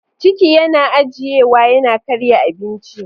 Ciki yana ajiyewa yana karya abinci.